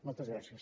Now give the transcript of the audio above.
moltes gràcies